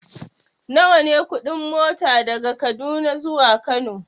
Nawa ne kuɗin mota daga Kaduna zuwa Kano?